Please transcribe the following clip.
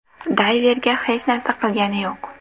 Dayverga hech narsa qilgani yo‘q.